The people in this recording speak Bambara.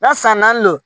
N'a san naani do